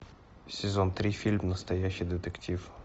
сезон три фильм настоящий детектив